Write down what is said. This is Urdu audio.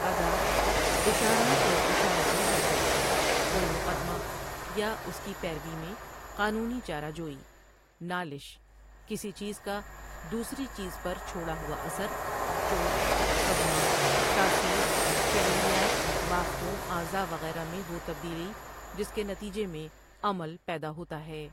ادا، اشارت اور اشارتی حرکت، کوئی مقدمہ یا اس کی پیروی میں قانونی چارہ جوئی، نالش، کسی چیز کا دوسری چیز پر چھوڑا ہوا اثر، چوٹ، صدمہ، تاثیر فعلیات بافتوں، اعضا وغیرہ میں وہ تبدیلی جس کے نتیجے میں عمل پیدا ہوتا ہے